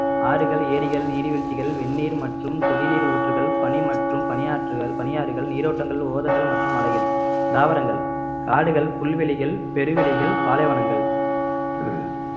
ஆறுகள் ஏரிகள் நீர்வீழ்ச்சிகள் வெந்நீர் மற்றும் கொதிநீர் ஊற்றுகள் பனி மற்றும் பனியாற்றுகள் பனியாறுகள் நீரோட்டங்கள் ஓதங்கள் மற்றும் மலைகள் தாவரங்கள் காடுகள் புல்வெளிகள் பெருவெளிகள் பாலைவனங்கள்